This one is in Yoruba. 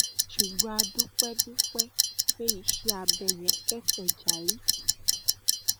ṣùgbọn a dúpẹ dúpẹ pé iṣẹ abẹ yẹn kẹsẹ járí